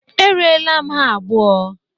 Erela m ha abụo.